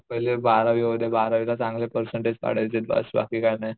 पाहिलं बारावी होउद्या बारावी ला चांगले पेरसेन्टेज पाडायचेत बस बाकी काही नाही